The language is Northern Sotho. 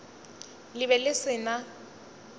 le be le se na